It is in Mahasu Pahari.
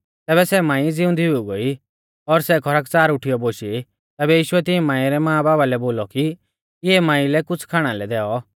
तैबै सै मांई ज़िउंदी हुई गोई और सै खरकच़ार उठीयौ बोशी तैबै यीशुऐ तिऐं मांई रै मांबाबा लै बोलौ कि इऐं मांई लै कुछ़ खाणा लै दैऔ